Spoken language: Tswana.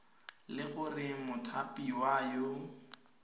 le gore o mothapiwa yo